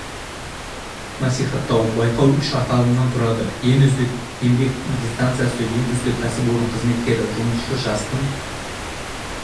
насихаттау байқау үш аталымнан тұрады ең үздік еңбек династиясы ең үздік кәсіпорын қызметкері жұмысшы жастың